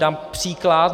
Dám příklad.